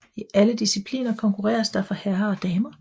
I alle discipliner konkurreres der for herrer og damer